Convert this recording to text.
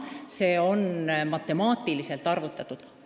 See on matemaatiliselt arvutatud.